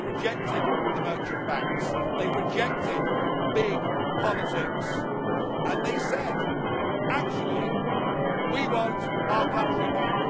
They rejected the merchant banks, they rejected big politics, and they said, actually, we want our country back.